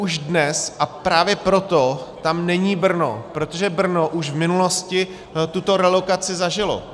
Už dnes, a právě proto tam není Brno, protože Brno už v minulosti tuto realokaci zažilo.